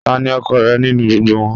Tani ọkọ rẹ ninu gbogbo wọn?